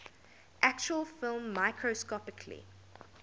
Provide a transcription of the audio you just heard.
actual film microscopically